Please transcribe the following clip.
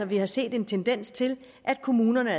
vi har set en tendens til at kommunerne